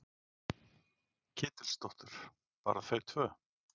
Ketilsdóttur. bara þau tvö?